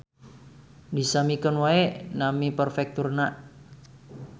Disamikeun wae nami perfekturna